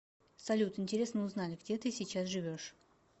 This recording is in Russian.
салют интересно узнать где ты сейчас живешь